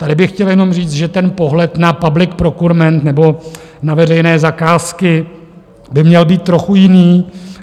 Tady bych chtěl jenom říct, že ten pohled na public procurement nebo na veřejné zakázky by měl být trochu jiný.